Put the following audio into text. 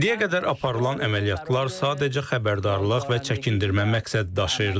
İndiyə qədər aparılan əməliyyatlar sadəcə xəbərdarlıq və çəkindirmə məqsəd daşıyırdı.